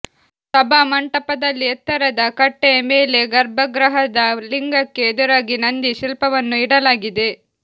ಸಭಾಮಂಟಪದಲ್ಲಿ ಎತ್ತರದ ಕಟ್ಟೆಯ ಮೇಲೆ ಗರ್ಭಗೃಹದ ಲಿಂಗಕ್ಕೆ ಎದುರಾಗಿ ನಂದಿ ಶಿಲ್ಪವನ್ನು ಇಡಲಾಗಿದೆ